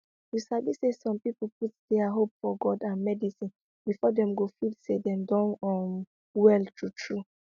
you sabi say some people put dia hope for god and medicine before dem go dey feel say dem don um well true true